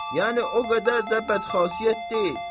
Yəni o qədər də bədxasiyyət deyil.